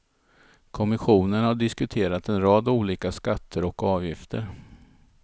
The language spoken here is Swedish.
Kommissionen har diskuterat en rad olika skatter och avgifter.